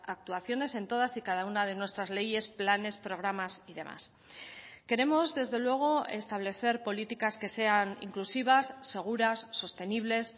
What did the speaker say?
actuaciones en todas y cada una de nuestras leyes planes programas y demás queremos desde luego establecer políticas que sean inclusivas seguras sostenibles